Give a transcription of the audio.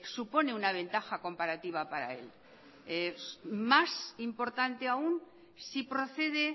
supone una ventaja comparativa para él más importante aún si procede